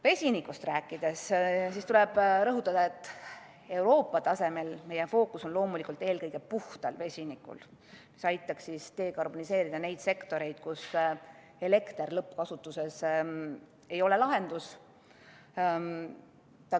Vesinikust rääkides tuleb rõhutada, et Euroopa tasemel on meie fookus loomulikult eelkõige puhtal vesinikul, mis aitaks dekarboniseerida neid sektoreid, kus elekter lõppkasutuses ei ole lahendus.